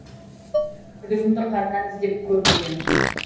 күдігімді қаннан іздеп көп бүгем